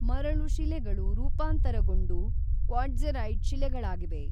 ಮರಳು ಶಿಲೆಗಳು ರೂಪಾಂತರಗೊಂಡು ಕ್ವಾಟ್ಜೆರೈಟ್ ಶಿಲೆಗಳಾಗಿವೆ.